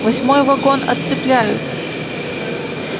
восьмой вагон отцепляют